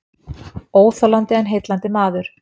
Óþolandi en heillandi maður